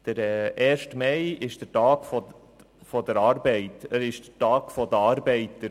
Der Erste Mai ist der Tag der Arbeit, es ist der Tag der Arbeiter.